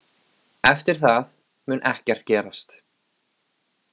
Eftir það mun ekkert gerast.